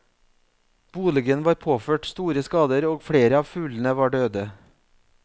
Boligen var påført store skader og flere av fuglene var døde.